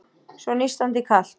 Svo nístandi kalt.